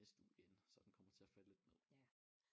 Næste uge igen så den kommer til at falde lidt ned